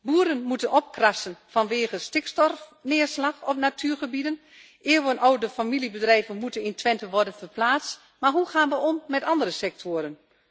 Boeren moeten opkrassen vanwege stikstofneerslag op natuurgebieden, eeuwenoude familiebedrijven moeten in Twente worden verplaatst. Maar hoe gaan we om met andere sectoren?